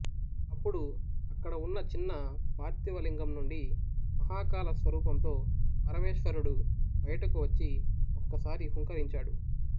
అప్పుడు అక్కడ ఉన్న చిన్న పార్థివ లింగం నుండి మహాకాళ స్వరూపంతో పరమేశ్వరుడు బయటకు వచ్చి ఒక్కసారి హుంకరించాడు